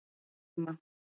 Lóurima